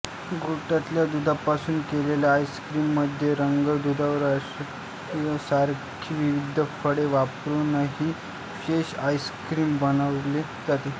गोठवलेल्या दुधापासून केलेल्या आईस्क्रीममध्ये रंग सुगंध व स्ट्रॉबेरीसारखी विविध फळे वापरूनही विशेष आईस्क्रीम बनवले जाते